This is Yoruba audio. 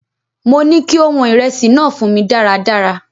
Mo ní kí ó wọn ìrẹsì náà fún mí dáradára!